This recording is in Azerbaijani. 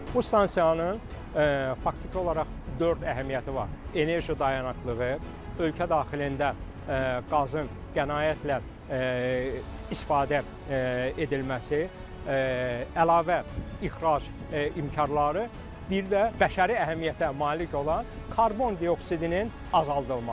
Bu stansiyanın faktiki olaraq dörd əhəmiyyəti var: enerji dayanıqlığı, ölkə daxilində qazın qənaətlə istifadə edilməsi, əlavə ixrac imkanları, bir də bəşəri əhəmiyyətə malik olan karbondioksidinin azaldılması.